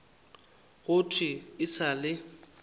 go thwe e sa le